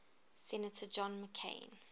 senator john mccain